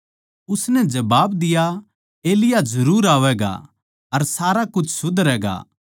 उसनै जबाब दिया एलिय्याह जरुर आवैगा अर सारा कुछ सुधरैगा